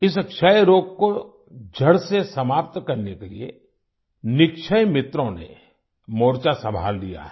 इस क्षय रोग को जड़ से समाप्त करने के लिए निक्षय मित्रों ने मोर्चा संभाल लिया है